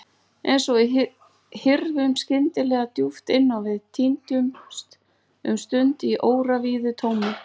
Eins og við hyrfum skyndilega djúpt inn á við, týndumst um stund í óravíðu tómi.